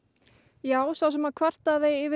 já sá sem kvartaði yfir